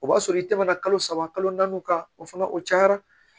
O b'a sɔrɔ i tɛmɛna kalo saba kalo naani kan o fana o cayara